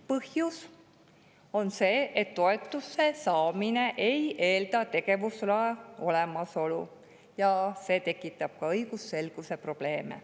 Põhjus on see, et toetuse saamine ei eelda tegevusloa olemasolu, ja see tekitab ka õigusselguse probleeme.